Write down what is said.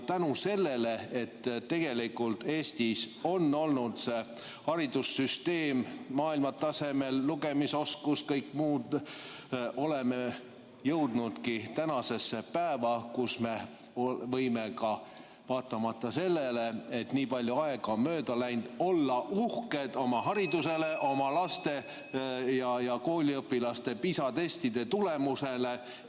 Tänu sellele, et Eestis on olnud see haridussüsteem, maailmatasemel lugemisoskus ja kõik muu, oleme jõudnudki tänasesse päeva, kus me võime ka vaatamata sellele, et nii palju aega on mööda läinud, olla uhked oma haridusele, oma laste ja kooliõpilaste PISA testide tulemusele.